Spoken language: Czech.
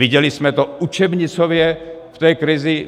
Viděli jsme to učebnicově v té krizi.